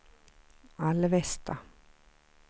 Alvesta